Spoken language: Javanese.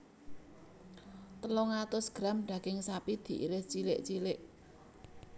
Telung atus gram daging sapi diiris cilik cilik